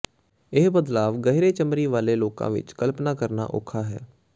ਇਹ ਬਦਲਾਵ ਗਹਿਰੇ ਚਮੜੀ ਵਾਲੇ ਲੋਕਾਂ ਵਿਚ ਕਲਪਨਾ ਕਰਨਾ ਔਖਾ ਹੈ